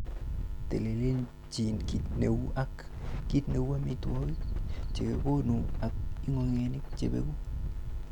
Telelchin kit neu ak kit neu amitwogik chekekonu ak ingogenik chebeku.